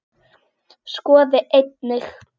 Skoði einnig